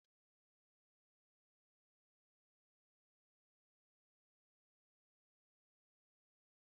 Bọta tat bụ nri ndị Canada nke ejiri bọta, shuga na akwa mee.